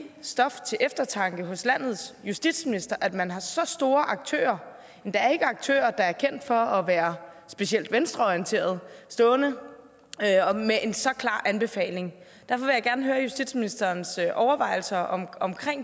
stof til eftertanke hos landets justitsminister at man har så store aktører endda aktører der ikke er kendt for at være specielt venstreorienterede stående med en så klar anbefaling derfor vil jeg gerne høre justitsministerens overvejelser om